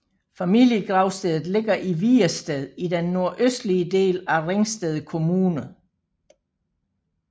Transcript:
Familiegravstedet ligger i Vigersted i den nordøstlige del af Ringsted Kommune